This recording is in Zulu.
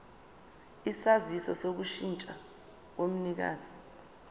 isaziso sokushintsha komnikazi